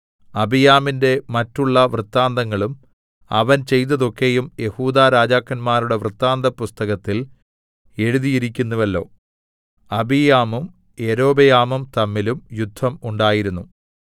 അബീയാമിന്റെ മറ്റുള്ള വൃത്താന്തങ്ങളും അവൻ ചെയ്തതൊക്കെയും യെഹൂദാ രാജാക്കന്മാരുടെ വൃത്താന്തപുസ്തകത്തിൽ എഴുതിയിരിക്കുന്നുവല്ലോ അബീയാമും യൊരോബെയാമും തമ്മിലും യുദ്ധം ഉണ്ടായിരുന്നു